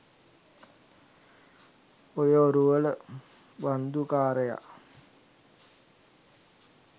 ඔය ඔරුවල බන්දු කාරයා